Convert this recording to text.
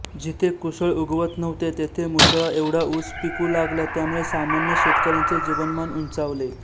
जिथे कूसळ उगवत नव्हते तेथे मुसळा एवढा ऊस पिकू लागला त्यामुळे सामान्य शेतकऱ्यांचे जीवनमान उंचावले